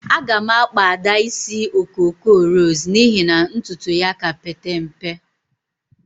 Agam akpa ada isi okoko ros n'ihi na ntutu ya ka Pete mpe.